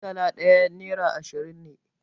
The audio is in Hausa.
Murtala ɗaya nera ashirin ne.